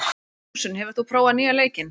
Ljósunn, hefur þú prófað nýja leikinn?